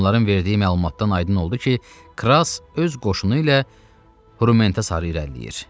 Onların verdiyi məlumatdan aydın oldu ki, Kras öz qoşunu ilə Hrummentə sarı irəliləyir.